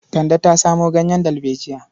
Kande ta samo ganyen dalbejiya.